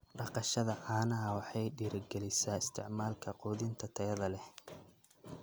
Dhaqashada caanaha waxay dhiirigelisaa isticmaalka quudinta tayada leh.